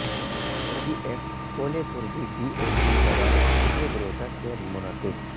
او D F کو لے کربی ڈی او کی صدارت میں ایک روزہ کیمپ منعقد